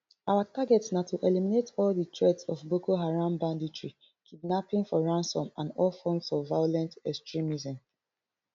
our target na to eliminate all di threats of boko haram banditry kidnapping for ransom and all forms of violent extremism